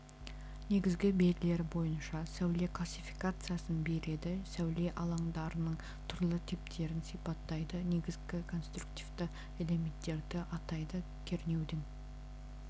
негізгі белгілері бойынша сәуле классификациясын береді сәуле алаңдарының түрлі типтерін сипаттайды негізгі конструктивті элементтерді атайды кернеудің